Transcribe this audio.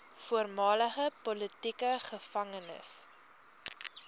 voormalige politieke gevangenes